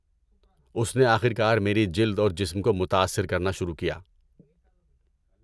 اس نے آخر کار میری جلد اور جسم کو متاثر کرنا شروع کیا۔